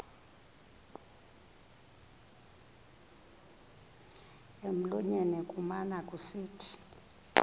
emlonyeni kumane kusithi